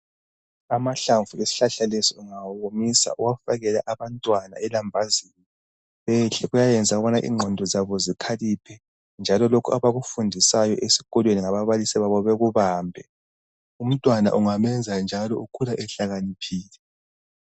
Amahlamvu esihlahla lesi ungawawomisa uwafakele abantwana elambazini bedle, kuyayenza ukubana ingqondo zabo zikhaliphe njalo lokho abakufundiswayo esikolo ngababalisi babo bekubambe. Umntwana ungamenza njalo ukhula ehlakaniphile.